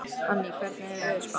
Anný, hvernig er veðurspáin?